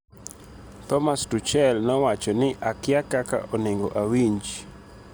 Thomas Tuchel nowacho ni, "akia kaka onengo awinj."